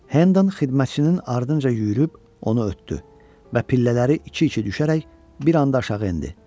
Hendon xidmətçinin ardınca yüyürüb onu ötdü və pillələri iki-iki düşərək bir anda aşağı endi.